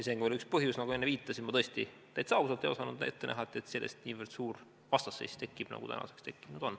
See on ka veel üks põhjuseid, nagu enne viitasin, et ma tõesti, täitsa ausalt, ei osanud ette näha, et sellest niivõrd suur vastasseis tekib, nagu tänaseks tekkinud on.